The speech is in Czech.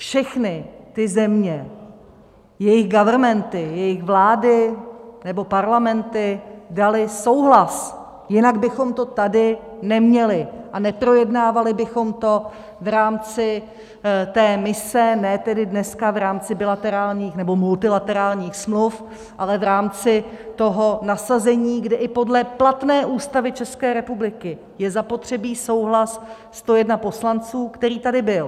Všechny ty země, jejich governmenty, jejich vlády nebo parlamenty daly souhlas, jinak bychom to tady neměli a neprojednávali bychom to v rámci té mise, ne tedy dneska v rámci bilaterálních nebo multilaterálních smluv, ale v rámci toho nasazení, kde i podle platné Ústavy České republiky je zapotřebí souhlas 101 poslanců, který tady byl.